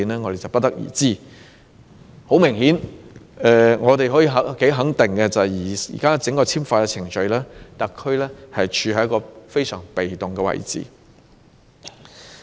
我們不得而知，但很明顯可以肯定的是，在現行整個簽發程序中，特區政府是處於一個非常被動的位置。